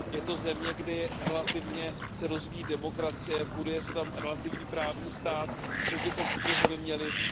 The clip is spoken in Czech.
Je to země, kde se relativně rozvíjí demokracie, buduje se tam relativní právní stát a my bychom tuto zemi měli mnohem více podporovat.